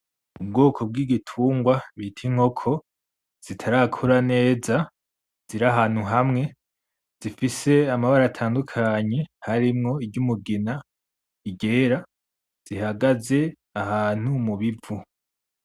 Ubwoko bw’igitungwa bita inkoko zitarakura neza ziri ahantu hamwe zifise amabara atandukanye harimwo i ry'umugina iryera, zihagaze ahantu mubivu.